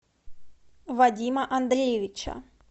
вадима андреевича